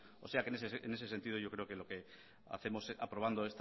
o sea en ese sentido yo creo que lo que hacemos aprobando